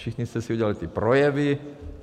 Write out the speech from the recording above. Všichni jste si udělali ty projevy...